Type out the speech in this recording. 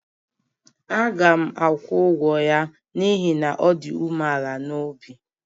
Aga m akwụ ụgwọ ụgwọ ya n'ihi na ọ dị umeala n'obi